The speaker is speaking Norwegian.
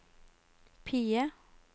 PIE